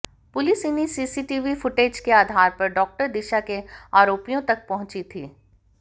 police इन्हीं CCTV footage के आधार पर डॉक्टर दिशा के आरोपियों तक पहुंची थी